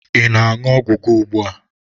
Ị na-aṅụ ọgwụ gị ugbua?